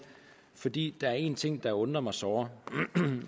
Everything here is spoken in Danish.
fordi der er en ting der undrer mig såre